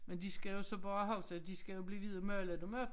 Men de skal jo så bare huske at de skal jo blive ved at male dem op